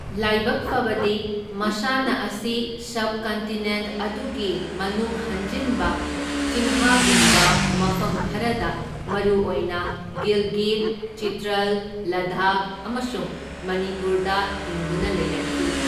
ꯂꯥꯏꯕꯛ ꯐꯕꯗꯤ, ꯃꯁꯥꯟꯅ ꯑꯁꯤ ꯁꯕꯀꯟꯇꯤꯅꯦꯟꯠ ꯑꯗꯨꯒꯤ ꯃꯅꯨꯡ ꯍꯟꯖꯤꯟꯕ ꯆꯤꯡꯍꯒꯨꯝꯕ ꯃꯐꯝ ꯈꯔꯗ ꯃꯔꯨꯑꯣꯏꯅ ꯒꯤꯜꯒꯤꯠ, ꯆꯤꯇ꯭ꯔꯜ, ꯂꯗꯥꯈ ꯑꯃꯁꯨꯡ ꯃꯅꯤꯄꯨꯔꯗ ꯍꯤꯡꯗꯨꯅ ꯂꯩꯔꯛꯈꯤ꯫